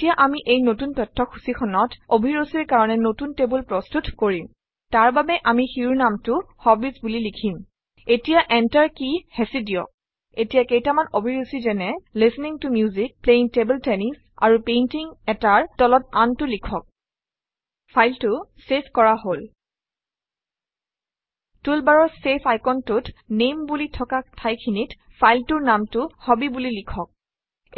এতিয়া আমি এই নতুন তথ্যসূচীখনত অভিৰুচিৰ কাৰণে নতুন টেবুল প্ৰস্তুত কৰিম তাৰবাবে আমি শিৰোনামটো হবিজ বুলি লিখিম এতিয়া enter কী হেঁচি দিয়ক এতিয়া কেইটামান অভিৰুচি যেনে - listening to music playing table tennis আৰু Painting - এটাৰ তলত আনটো লিখক ফাইলটো চেভ কৰা হল টুলবাৰৰ চেভ আইকনটোত নামে বুলি থকা ঠাইখিনিত ফাইলটোৰ নামটো হবি বুলি লিখক